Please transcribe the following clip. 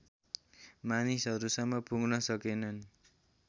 मानिसहरूसम्म पुग्न सकेनन्